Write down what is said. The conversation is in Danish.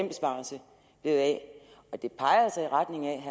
besparelse blevet af det peger altså i retning af